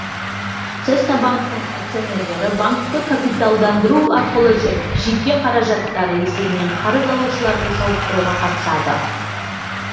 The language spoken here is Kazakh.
цеснабанктің акционерлері банкті капиталдандыру арқылы жеке қаражаттары есебінен қарыз алушыларды сауықтыруға қатысады